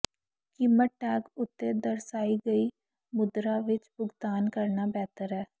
ਕੀਮਤ ਟੈਗ ਉੱਤੇ ਦਰਸਾਈ ਗਈ ਮੁਦਰਾ ਵਿੱਚ ਭੁਗਤਾਨ ਕਰਨਾ ਬਿਹਤਰ ਹੈ